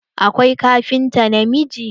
Akwai kafinta namiji.